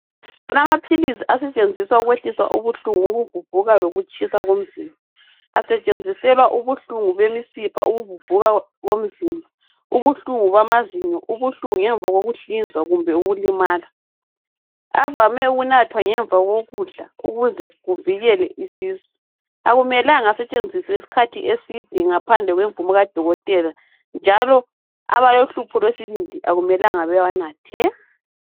Kulamaphilisi asetshenziswa ukwehlisa ubuhlungu bokuvuvuka lokutshisa komzimba bomzimba, asetshenziselwa ubuhlungu bemisipha, ukuvuvuka komzimba, ubuhlungu bamazinyo, ubuhlungu ngemva kokuhlinzwa kumbe ukulimala. Avame ukunathwa ngemva kokudla ukuze kuvikelwe isisu. Akumelanga asetshenziswe isikhathi eside ngaphandle kwemvumo kadokotela njalo abalohlupho lwesibindi akumelanga bewanathe.